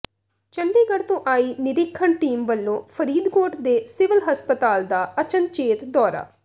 ਚੰਡੀਗੜ੍ਹ ਤੋਂ ਆਈ ਨਿਰੀਖਣ ਟੀਮ ਵੱਲੋਂ ਫ਼ਰੀਦਕੋਟ ਦੇ ਸਿਵਲ ਹਸਪਤਾਲ ਦਾ ਅਚਨਚੇਤ ਦੌਰਾ